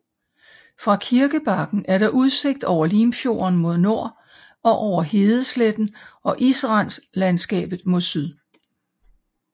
Fra kirkebakken er der udsigt over Limfjorden mod nord og over hedesletten og israndslandskabet mod syd